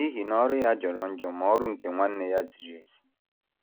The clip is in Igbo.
N’ihi na ọrụ ya jọrọ njọ, ma ọrụ nke nwanne ya ziri ezi.